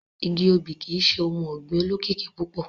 Igi obì kii ṣe ohun ọgbin olokiki pupọ.